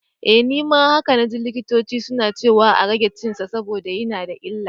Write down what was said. Eh, nima haka naji likitoci suna ciwa a rage cinsa saboda yana da illa.